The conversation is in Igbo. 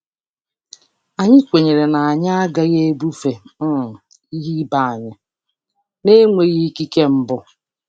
Anyị kwenyere na anyị agaghị ebufe um ihe ibe anyị na-enweghị ikike mbụ.